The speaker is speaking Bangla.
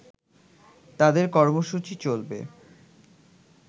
তাদের কর্মসূচি চলবে